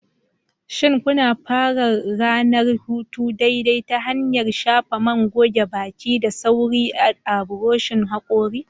Shin kuna fara ranar hutu daidai ta hanyar shafa man goge baki da sauri a buroshin hakori?